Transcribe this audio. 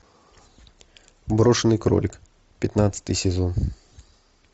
брошенный кролик пятнадцатый сезон